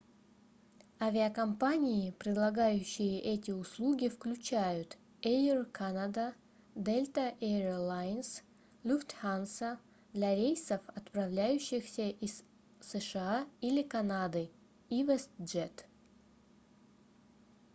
авиакомпании предлагающие эти услуги включают air canada delta air lines lufthansa для рейсов отправляющихся из сша или канады и westjet